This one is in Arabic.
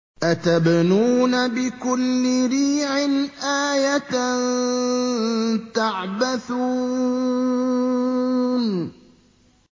أَتَبْنُونَ بِكُلِّ رِيعٍ آيَةً تَعْبَثُونَ